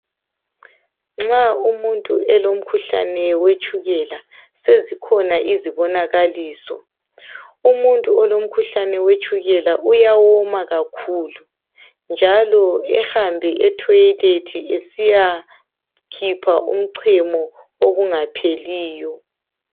Nxa umuntu elomkhuhlane wetshukela, sezikhona izibonakaliso. Umuntu olomkhuhlane wetshukela uyawoma kakhulu, njalo ehambe etoilet esiyakhipha umchamo okungapheliyo.